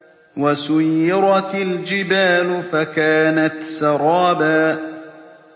وَسُيِّرَتِ الْجِبَالُ فَكَانَتْ سَرَابًا